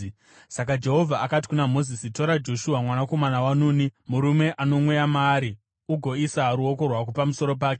Saka Jehovha akati kuna Mozisi, “Tora Joshua mwanakomana waNuni, murume ano mweya maari, ugoisa ruoko rwako pamusoro pake.